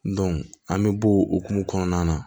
an bɛ bɔ o hukumu kɔnɔna na